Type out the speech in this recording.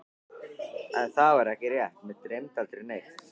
En það var ekki rétt, mig dreymdi aldrei neitt.